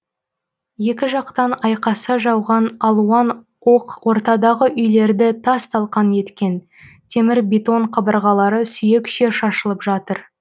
екі жақтан айқаса жауған алуан оқ ортадағы үйлерді тас талқан еткен темір бетон қабырғалары сүйекше шашылып жатыр